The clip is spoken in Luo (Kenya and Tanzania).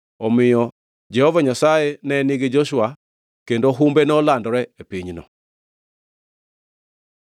Omiyo Jehova Nyasaye ne nigi Joshua kendo humbe nolandore e pinyno duto.